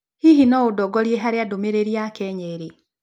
Hihi no ũndongorie harĩa ndũmĩrĩri ya Kenya ĩrĩ